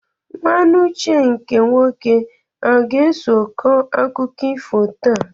Nwanne Uche nke nwoke aga-eso kọọ akụkọ ifo taa?